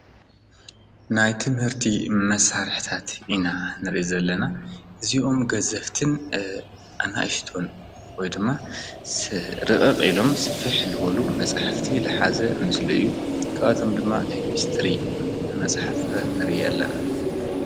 ናይ ትምህርቲ መሳርሕታት ኢና ንርኢ ዘለና እዚኦም ገዘፍትን ኣናእሽቶን ወይ ድማ ርቕቕ ኢሎም ስፍሕ ዝበሉ መፃሕፍቲ ዝሓዘ ምስሊ እዩ። ካብኣቶም ድማ ኬሚስትሪ መፅሓፍ ነርኢ ኣለና።